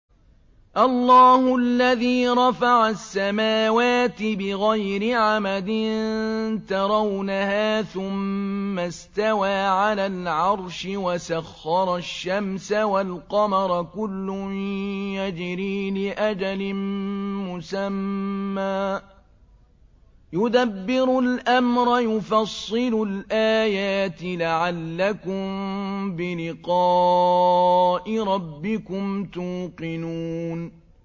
اللَّهُ الَّذِي رَفَعَ السَّمَاوَاتِ بِغَيْرِ عَمَدٍ تَرَوْنَهَا ۖ ثُمَّ اسْتَوَىٰ عَلَى الْعَرْشِ ۖ وَسَخَّرَ الشَّمْسَ وَالْقَمَرَ ۖ كُلٌّ يَجْرِي لِأَجَلٍ مُّسَمًّى ۚ يُدَبِّرُ الْأَمْرَ يُفَصِّلُ الْآيَاتِ لَعَلَّكُم بِلِقَاءِ رَبِّكُمْ تُوقِنُونَ